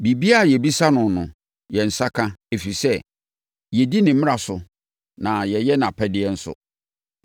Biribiara a yɛbisa no no, yɛn nsa ka, ɛfiri sɛ, yɛdi ne mmara so na yɛyɛ nʼapɛdeɛ nso.